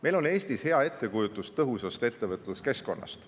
Meil on Eestis hea ettekujutus tõhusast ettevõtluskeskkonnast.